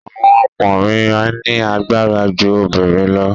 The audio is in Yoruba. Àwọn ọkùnrin ní agbára ju obìrin lọ.